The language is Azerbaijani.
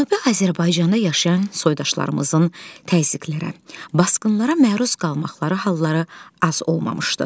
Cənubi Azərbaycanda yaşayan soydaşlarımızın təzyiqlərə, basqınlara məruz qalmaqları halları az olmamışdı.